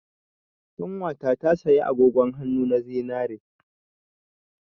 Ƙanwata ta saya agogon hannu na zinare.